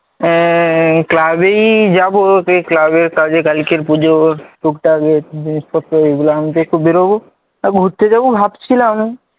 Club এই যাব club এর কাজে কালকে পুজো, টুকটাক একটু জিনিসপত্র এগুলো আনতে একটু বেরোব, ঘুরতে যাব ভাবছিলাম,